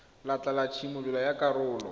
letlha la tshimololo ya karolo